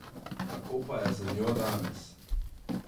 Kako pa je z njo danes?